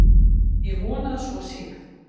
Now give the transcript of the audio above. Ég vona að svo sé.